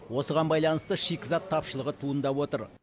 осыған байланысты шикізат тапшылығы туындап отыр